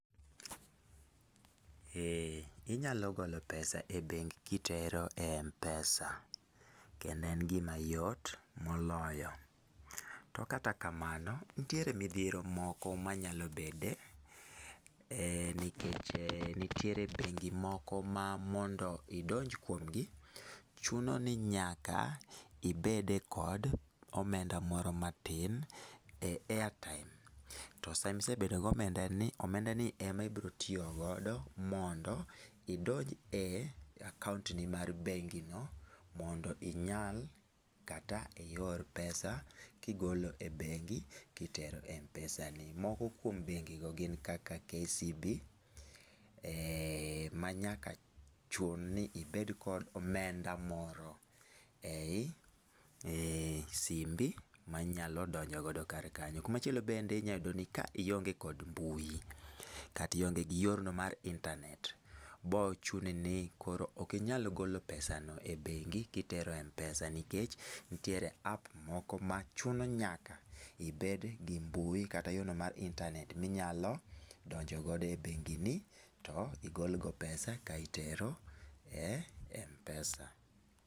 Eeeh, inyalo golo pesa e bengi kitero e eMpesa. Kendo en gima yot moloyo. To kata kamano, nitiere midhiero moko manyalo bede, nikech nitiere bengi moko ma mondo idonj kuom gi, chuno ni nyaka ibed e kod omenda moro matin e airtime. To sama isebedo gi omenda ni, omenda ni e ma ibiro tiyo godo mondo idonj e akaont ni mar bengi no, mondo inyal kata ior pesa kigolo e bengi kitero e Mpesa ni. Moko kuom bengi go gin kaka KCB, ma nyaka chun ni ibed kod omenda moro ei simbi manyalo donjo godo kar kanyo. Kumachielo bende inyayudo ni ka ionge kod mbui, kata ionge gi yorno mar internet, biro chuno ni koro okinyal golo pesa no e bengi kitero e Mpesa nikech, nitiere App moko ma chuno nyaka ibed gi mbui kata yo no mar internet minyalo donjo godo e bengi ni, to igol go pesa ka itero e Mpesa.